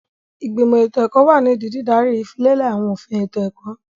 Ìgbìmọ̀ ètò ẹ̀kọ́ wà nídìí dídaríi ìfilélẹ̀ àwọn òfin ètò ẹ̀kọ́.